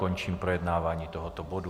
Končím projednávání tohoto bodu.